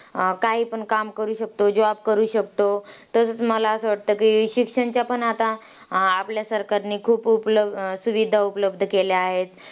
अं काहीपण काम करू शकतो. Job करू शकतो. तसंच मला असं वाटतं की, शिक्षणच्या पण आता अं आपल्या सरकारनी खूप उपल सुविधा उपलब्ध केल्या आहेत.